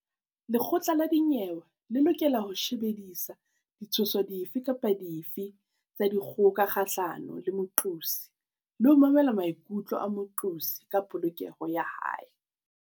Lekgotla la dinyewe le lokela ho shebisisa ditshoso dife kapa dife tsa dikgoka kgahlano le moqosi le ho mamela maikutlo a moqosi ka polokeho ya hae.